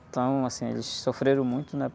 Então, assim, eles sofreram muito, né?